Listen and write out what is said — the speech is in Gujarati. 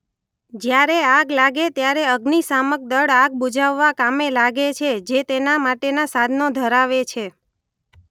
જયારે આગ લાગે ત્યારે અગ્નિશામક દળ આગ બુઝાવવા કામે લાગે છે જે તેના માટેના સાધનો ધરાવે છે.